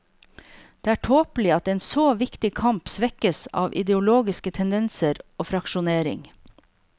Det er tåpelig at en så viktig kamp svekkes av ideologiske tendenser og fraksjonering.